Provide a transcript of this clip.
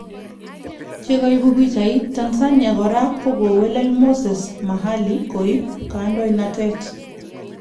Chegaipu pichait, Tanzania kora kokowelel Moses Mavhali koip kandoitet